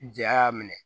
Ja y'a minɛ